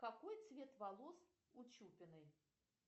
какой цвет волос у чупиной